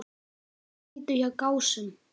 Þeir sigldu hjá Gásum.